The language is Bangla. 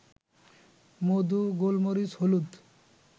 মধু, গোলমরিচ, হলুদ